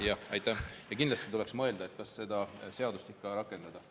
Ja kindlasti tuleks mõelda, kas seda seadust rakendada.